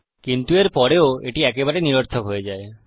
কিন্তু এর পরেও এটি একেবারে নিরর্থক হয়ে যায়